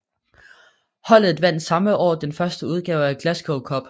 Holdet vandt samme år den første udgave af Glasgow Cup